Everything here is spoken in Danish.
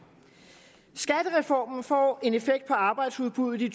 skattereformen får en effekt på arbejdsudbuddet i